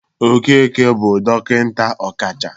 Okeke bụ dọkịnta ọkacha